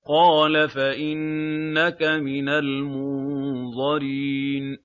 قَالَ فَإِنَّكَ مِنَ الْمُنظَرِينَ